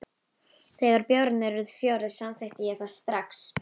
Þegar bjórarnir urðu fjórir, samþykkti ég það strax.